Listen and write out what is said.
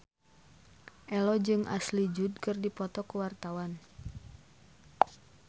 Ello jeung Ashley Judd keur dipoto ku wartawan